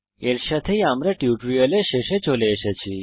এর সাথেই আমরা কে টচ টিউটোরিয়ালের শেষে চলে এসেছি